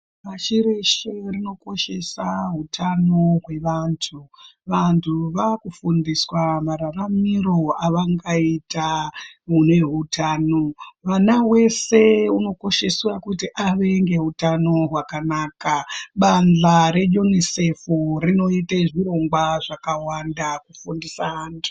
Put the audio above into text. Pashi reshe rinokoshesa utano hwevantu vantu vakufundiswa mararamiro avangaita mune utano mwana weshe unokosheswa kuti ave ngeutano hwakanaka bantho reUNICEFrinoita zvirongwa zvakawanda kufundisa vantu.